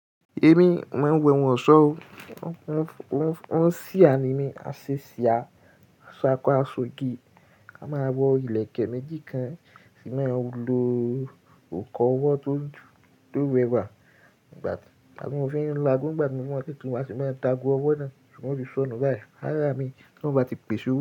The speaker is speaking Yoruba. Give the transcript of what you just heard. Emi, mo maa n wẹ ohun ọ̀ṣọ́ o. On sì a ni mí a ṣe ṣí a, a sá kọ́ a ṣogé, a máa wọ ìlẹ̀kẹ̀ méjì kan, ṣì máa lo ọkọ̀ ọwọ́ tó wẹwẹ wà. Ìgbà tí àgún fi ń la, gbogba mi mọ́ pé tí mo bá ṣe máa dagun ọwọ́ náà, ṣùgbọ́n ó ti sọnù báyìí. Rárá mi, kí wọ́n bá ti pèsè o.